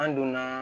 An donna